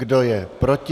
Kdo je proti?